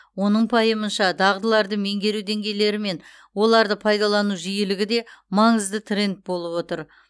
оның пайымынша дағдыларды меңгеру деңгейлері мен оларды пайдалану жиілігі де маңызды тренд болып отыр